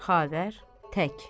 Xavər tək.